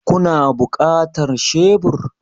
Kuna buƙatar shebur?